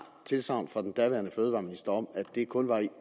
tilsagn fra den daværende fødevareminister om at det kun var i